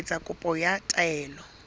ho etsa kopo ya taelo